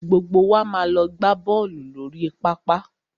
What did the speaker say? Gbogbo wa máa lọ gbá bọ́ọ̀lù lórí pápá.